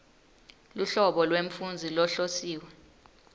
luhlobo lwemfundzi lohlosiwe